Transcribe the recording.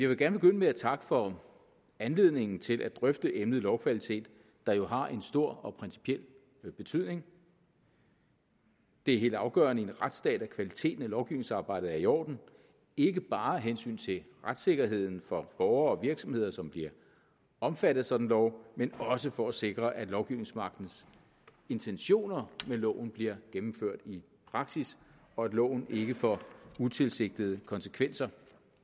vil gerne begynde med at takke for anledningen til at drøfte emnet lovkvalitet der jo har en stor og principiel betydning det er helt afgørende i en retsstat at kvaliteten af lovgivningsarbejdet er i orden ikke bare af hensyn til retssikkerheden for borgere og virksomheder som bliver omfattet sådan lov men også for at sikre at lovgivningsmagtens intentioner med loven bliver gennemført i praksis og at loven ikke får utilsigtede konsekvenser